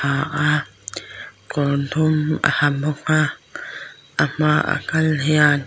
a kawr dum a ha bawk a a hma a kal hian--